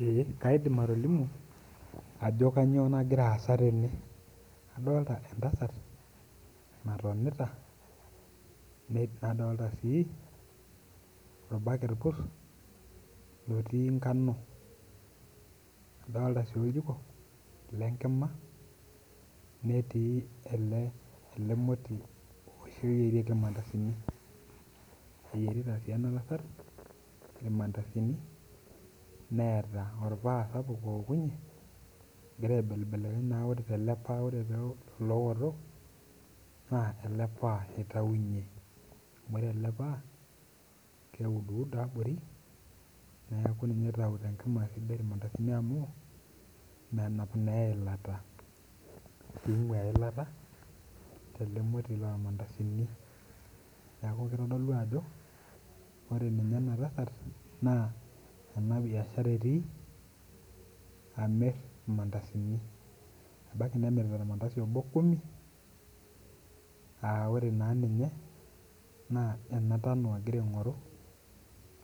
Eeh kaidim atolimu ajo kainyoo nakira aasa tene, adolita entasat natonita, nadoolta sii orbaket lotii nganu, adoolta sii oljiko lenkima, netii ele moti oshi oyierieki ilmandasini. Eyierita sii ena tasat ilmandasini, neeta olpaa sapuk ookunye, ekira aibelebelekeny naa tele paa wore ilooto, naa ele paa itaunyie, amu wore ele paa, keuduudo abori, neeku ninye oitayu tenkima esidai ilmandasini amuu menap naa eilata. Ningua eilata tele moti loo mandasini. Neeku kitodolu ajo wore ninye ena tasat, naa enabiashara etii, amirr ilmandasini, ebaiki nemirta olmandasi obo kumi, aa wore naa ninye, naa ena tano ekira aingorru,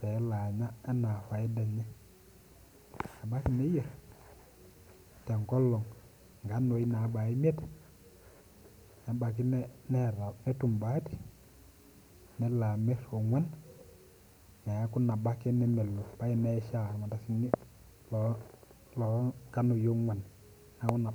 pee elo anya enaa faida enye. Ebaiki neyier tenkolong inkanoi naabaya imiet, nebaiki netum baati, nelo amirr ongwan, neeku nabo ake nemelo, ebaiki neishaa ilmandasini loo nganoi ogwan. Neeku